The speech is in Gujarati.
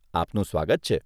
આપનું સ્વાગત છે.